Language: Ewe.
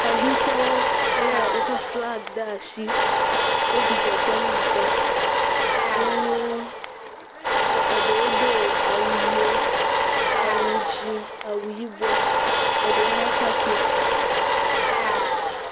Xexitɔwo le woƒe flaga ɖe asi. Wo dzidzɔ kpɔm ŋutɔ. Nyɔnuwo nye eɖewo do awu ʋiwo. Awu dzi, awu yibɔ eɖewo hã tsakɛ.